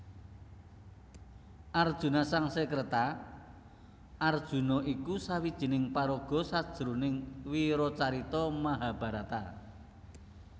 Arjuna Sangskreta Arjuna iku sawijining paraga sajroning wiracarita Mahabharata